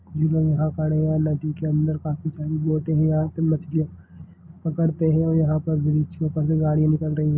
ये लोग यहां खड़े हैं नदी के अंदर काफी सारी बोटे हैं यहां पे मछलियाँ पकड़ते हैं और यहां पर ब्रिज के ऊपर से गाड़ियां निकल रही है।